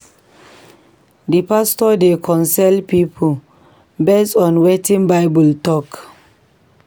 We pastor dey counsel pipo based on wetin Bible tok.